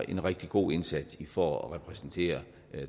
en rigtig god indsats for at repræsentere